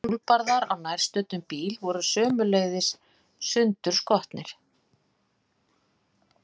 Hjólbarðar á nærstöddum bíl voru sömuleiðis sundurskotnir.